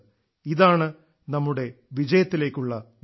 ഇതാണ് നമ്മുടെ വിജയത്തിലേക്കുള്ള വഴി